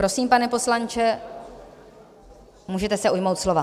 Prosím, pane poslanče, můžete se ujmout slova.